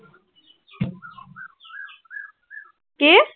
কি?